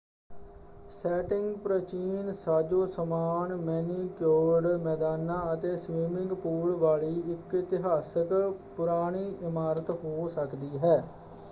Setting ਪ੍ਰਚੀਨ ਸਾਜੋ-ਸਮਾਨ, manicured ਮੈਦਾਨਾਂ ਅਤੇ ਸਵੀਮਿੰਗ ਪੂਲ ਵਾਲੀ ਇੱਕ ਇਤਿਹਾਸਕ ਪੁਰਾਣੀ ਇਮਾਰਤ ਹੋ ਸਕਦੀ ਹੈ।